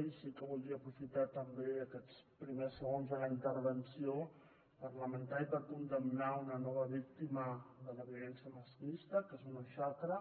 i sí que voldria aprofitar també aquests primers segons de la intervenció parlamentària per condemnar una nova víctima de la violència masclista que és una xacra